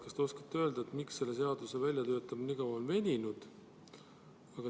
Kas te oskate öelda, miks selle seaduse väljatöötamine on nii kaua veninud?